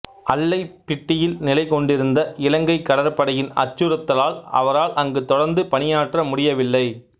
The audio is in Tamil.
அல்லைப்பிட்டியில் நிலை கொண்டிருந்த இலங்கைக் கடற்படையின் அச்சுறுத்தலால் அவரால் அங்கு தொடர்ந்து பணியாற்ற முடியவில்லை